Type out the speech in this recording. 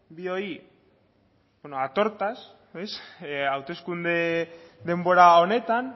bioi a tortas hauteskunde denbora honetan